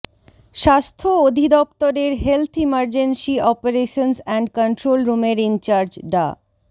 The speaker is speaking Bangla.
স্বাস্থ্য অধিদফতরের health emergency operations and control রুমের ইনচার্জ ডা